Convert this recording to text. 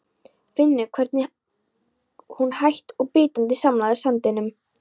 Finnur hvernig hún hægt og bítandi samlagast sandinum.